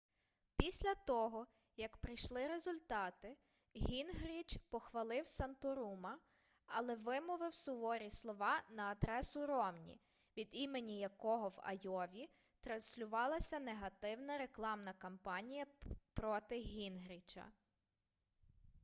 після того як прийшли результати гінгріч похвалив санторума але вимовив суворі слова на адресу ромні від імені якого в айові транслювалася негативна рекламна кампанія проти гінгріча